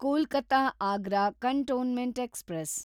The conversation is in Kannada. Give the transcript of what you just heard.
Kolkata Agra cantonment express